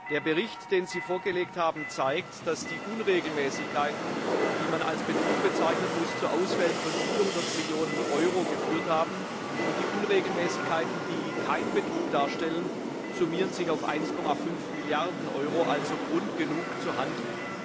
Der Bericht, den Sie vorgelegt haben, zeigt, dass die Unregelmäßigkeiten, die man als Betrug bezeichnen muss, zu Ausfällen von 400 Millionen Euro geführt haben, und die Unregelmäßigkeiten, die keinen Betrug darstellen, summieren sich auf 1,5 Milliarden Euro also Grund genug zu handeln.